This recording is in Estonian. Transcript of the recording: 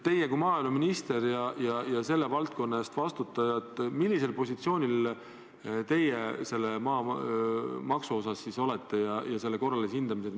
Teie kui maaeluminister ja selle valdkonna eest vastutaja, millisel positsioonil teie maamaksu ja selle korralise hindamise osas olete?